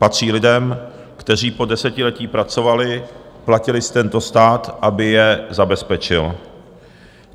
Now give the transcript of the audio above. Patří lidem, kteří po desetiletí pracovali, platili si tento stát, aby je zabezpečil.